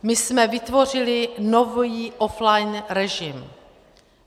My jsme vytvořili nový offline režim.